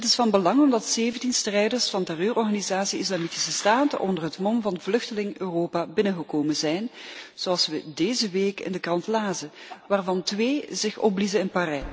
Dit is van belang omdat 17 strijders van terreurorganisatie Islamitische Staat onder het mom van vluchteling Europa binnengekomen zijn zoals we deze week in de krant lazen waarvan twee zich opbliezen in Parijs.